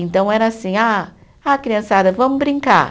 Então era assim, ah, ah criançada, vamos brincar.